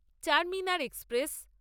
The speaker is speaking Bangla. চারমিনার এক্সপ্রেস